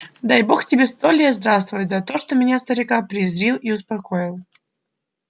дай бог тебе сто лет здравствовать за то что меня старика призрил и успокоил